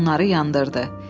Sonra onları yandırdı.